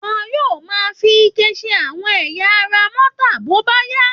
Wọn yóò máa fi ike ṣe àwọn ẹ̀yà ara mọ́tà bóbáyá